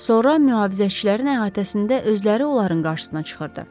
Sonra mühafizəçilərin əhatəsində özləri onların qarşısına çıxırdı.